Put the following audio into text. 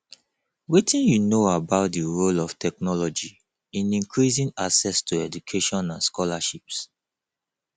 wetin you know about di role of technology in increasing access to education and scholarships